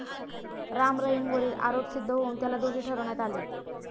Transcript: राम रहीमवरील आरोप सिद्ध होऊन त्याला दोषी ठरवण्यात आले.